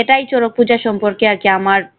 এটাই শরৎ পূজার সম্পর্কে আর কি আমার